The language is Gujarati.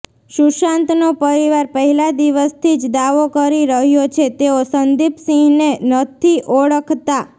સુશાંતનો પરિવાર પહેલા દિવસથી જ દાવો કરી રહ્યો છે તેઓ સંદીપ સિંહને નથી ઓળખતા